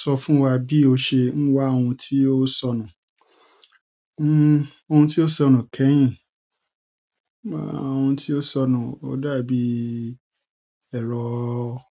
Sọ fún wa bí o ṣe ń wá ohun tí ó sọnù. Ohun tí ó sọnù kẹ́yìn. Ohun tí ó sọnù, ó dà bíi ẹ̀rọ